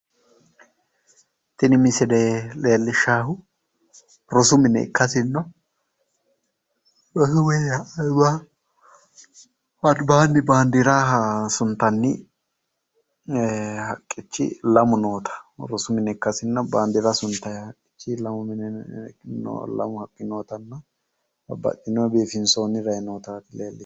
Tini misile leellishshaahu rosu mine ikkasinnino. rosu minna albaanni rosu mine baandiira suntanni haqqichi lamu noota rosu mine ikkasinna baandeerra suntayi haqqichi lamu nootanna babbaxino biifinsoyi rayi nootatti leellishshannohu.